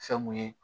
Fɛn mun ye